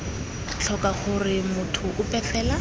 tlhoka gore motho ope fela